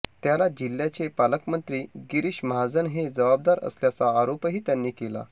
त्याला जिल्ह्याचे पालकमंत्री गिरीष महाजन हे जबाबदार असल्याचा आरोपही त्यांनी केला